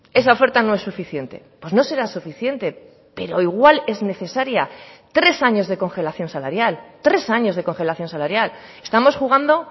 esa oferta no es suficiente pues no será suficiente pero igual es necesaria tres años de congelación salarial tres años de congelación salarial estamos jugando